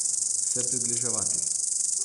Se približevati.